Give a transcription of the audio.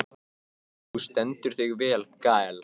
Þú stendur þig vel, Gael!